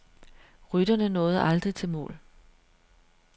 Rytterne nåede aldrig til mål.